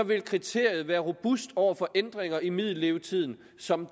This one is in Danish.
vil kriteriet være robust over for ændringer i middellevetiden som